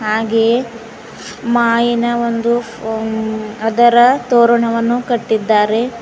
ಹಾಗೆಯೇ ಮಾಯಿನ ಒಂದು ಅ ಅದರ ತೋರಣವನ್ನು ಕಟ್ಟಿದ್ದಾರೆ.